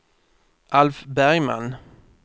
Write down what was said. Alf Bergman